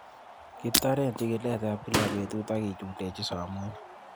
Kitoren chikiletab kila betut ak kichundechin somunyik